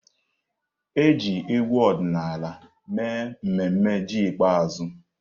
E ji egwu ọdịnala mee mmemme ji ikpeazụ.